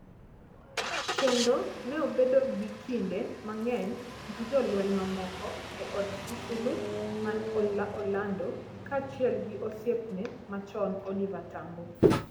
kendo ne obedo gi kinde mang'eny gi jolweny mamoko e od Sisulu man Orlando, kaachiel gi osiepne machon Oliver Tambo.